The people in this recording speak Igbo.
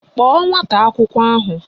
Kpọọ nwata akwụkwọ ahụ!